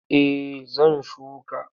Eh zan shuka.